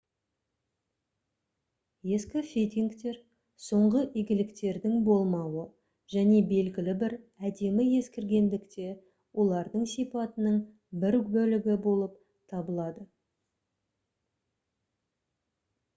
ескі фитингтер соңғы игіліктердің болмауы және белгілі бір әдемі ескіргендік те олардың сипатының бір бөлігі болып табылады